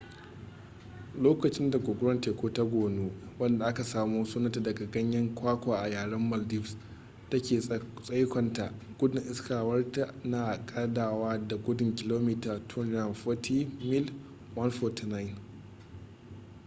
lokacin da guguwar teku ta gonu wadda aka samo sunanta daga ganyen kwakwa a yaren maldives take tsaikonta gudun iskarta na kadawa da gudun kilomita 240 mil 149